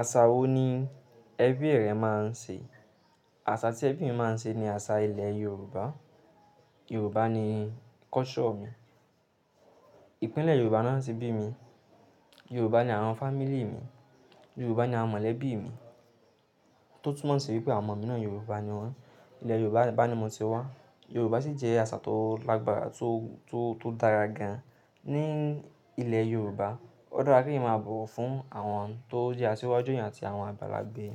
Àṣà wo ni ẹbí rẹ máa ń ṣe? Àṣà tí ẹbí mi máa ń ṣe ni àṣà ilẹ̀ Yorùbá. Yorùbá ni culture mi. Ìpínlẹ̀ Yorùbá ni wọ́n ti bí mi. Yorùbá ni àwọn family mi. Yorùbá ni àwọn mọ̀lẹ́bí mi tó tún mọ̀ sí wípé àwọn ọmọ mi náà Yorùbá ni wọ́n. Ilẹ̀ Yorùbá bá ni mo ti wá. Yorùbá sì jẹ́ àṣà tó lágbára tó, tó, tó dára gan-an ní ilẹ̀ Yorùbá. Ó dára kí èeyan máa bọ̀wọ̀ fún àwọn tó jẹ́ asíwájú eeyan àti àwọn àgbàlagbè